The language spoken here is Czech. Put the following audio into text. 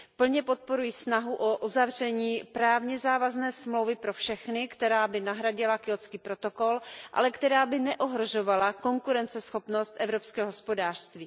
Plně podporuji snahu o uzavření právně závazné smlouvy pro všechny, která by nahradila Kjótský protokol, ale která by neohrožovala konkurenceschopnost evropského hospodářství.